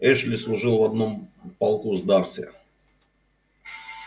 эшли служил в одном полку с дарси